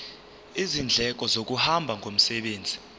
izindleko zokuhamba ngomsebenzi